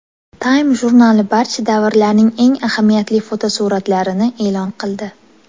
Time jurnali barcha davrlarning eng ahamiyatli fotosuratlarini e’lon qildi.